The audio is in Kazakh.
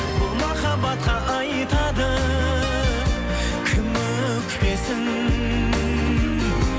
бұл махаббатқа айтады кім өкпесін